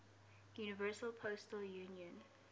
universal postal union